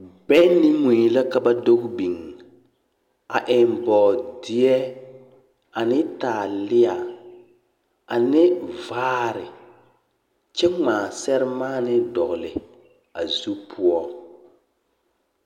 Bԑŋ ne mui la ka ba doge biŋ, a eŋ bͻͻdeԑ ane taalea ane vaare kyԑ ŋmaa seremaanee dogele a zu poͻ.